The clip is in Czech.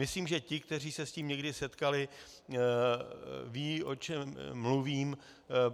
Myslím, že ti, kteří se s tím někdy setkali, vědí, o čem mluvím.